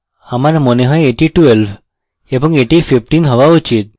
আমার মনে হয় এটি 12 এবং এটি 15 হওয়া উচিত